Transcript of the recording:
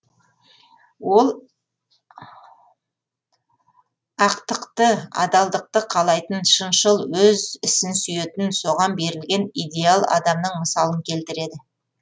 ол ақтықты адалдықты қалайтын шыншыл өз ісін сүйетін соған берілген идеал адамның мысалын келтіреді